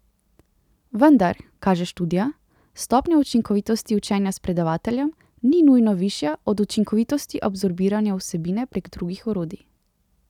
Vendar, kaže študija, stopnja učinkovitosti učenja s predavateljem ni nujno višja od učinkovitosti absorbiranja vsebine prek drugih orodij.